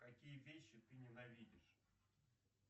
какие вещи ты ненавидишь